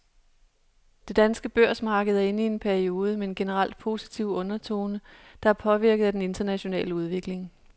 Det danske børsmarked er inde i en periode med en generelt positiv undertone, der er påvirket af den internationale udvikling.